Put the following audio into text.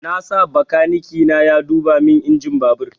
Na sa bakaniki na ya duba min injin babur